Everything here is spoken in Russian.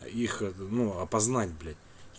их ну опознать блять